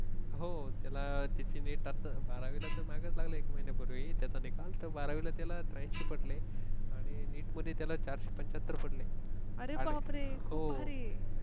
हो त्याला तिची NEET आता बारावीला तर मागे लागले एक महिन्यापूर्वी त्याचा निकाल तर बारावीला त्याला त्र्याऐंशी पटले आणि NEET मध्ये त्याला चारशेपंच्याहत्तर पडले. अरे बापरे! हो